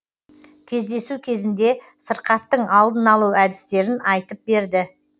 кездесу кезінде сырқаттың алдын алу әдістерін айтып берді